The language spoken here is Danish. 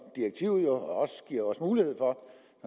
direktivet jo også giver os mulighed for